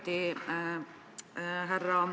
Aitäh, hea juhataja!